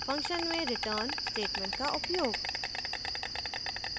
function में return statement का उपयोग